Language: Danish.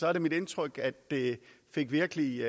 er det mit indtryk at det virkelig